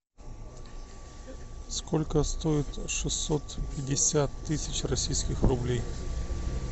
сколько стоит шестьсот пятьдесят тысяч российских рублей